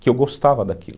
Que eu gostava daquilo.